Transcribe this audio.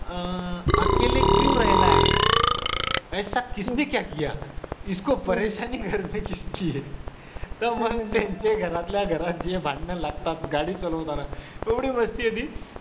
अं एकेले क्यो रेहना हे ऐसा किसने क्या किया तर मग त्यांचे घरातल्या घरात जे भांडण लागतात गाडी चालवताना, एवढी आहे ती